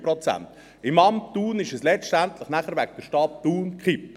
Im Amt Thun ist es wegen der Stadt Thun gekippt;